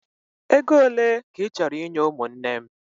Ego ole ka ị chọrọ inye ụmụnne m?